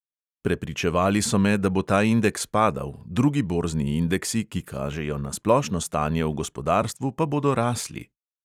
Prepričevali so me, da bo ta indeks padal, drugi borzni indeksi, ki kažejo na splošno stanje v gospodarstvu, pa bodo rasli.